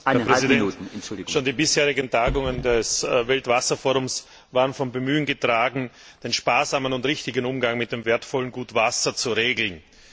Herr Präsident, schon die bisherigen Tagungen des Weltwasserforums waren vom Bemühen getragen, den sparsamen und richtigen Umgang mit dem wertvollen Gut Wasser zu regeln.